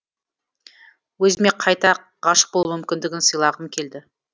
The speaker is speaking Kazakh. өзіме қайта ғашық болу мүмкіндігін сыйлағым келді